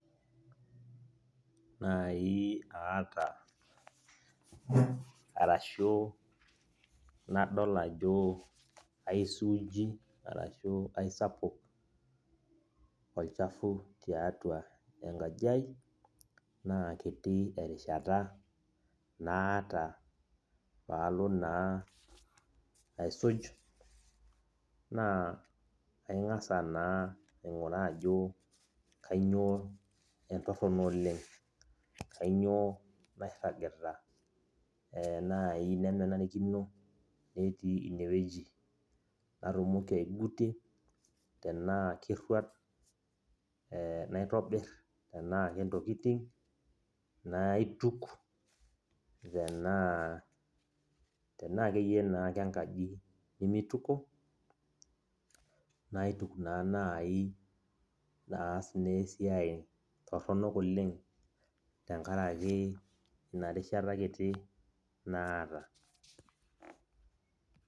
Nai aata arashu nadol ajo aisuuji arashu aisapuk olchafu tiatua enkaji ai, naakiti erishata naata palo naa aisuj, naa aing'asa naa aing'uraa ajo kanyioo entorrono oleng. Kanyioo nairragita nai nemenarikino netii inewueji, natumoki aigutie, tenaa kerruat, naitobir. Tenaa kentokiting, naituk. Tenaa akeyie naa kenkaji nimituko, naituk naa nai naas naa esiai torronok oleng tenkaraki ina rishata kiti, naata.